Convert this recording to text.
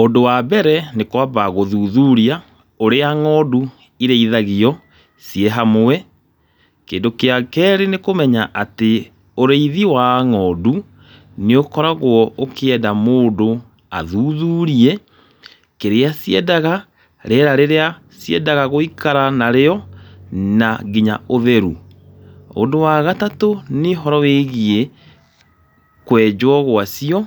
Ũndũ wa mbere, nĩ kwamba gũthuthuria ũrĩa ng'ondu irĩithagio ciĩ hamwe. Kĩndu kia kerĩ nĩ kũmenya atĩ ũrĩithi wa ng'ondu nĩ ũkoragwo ũkĩenda mũndũ athuthurie kĩrĩa ciendaga, rĩera rĩrĩa ciendaga gũikara narĩo na nginya ũtheru. Ũndũ wa gatatũ nĩ ũhoro wĩgiĩ kwenjwo gwacio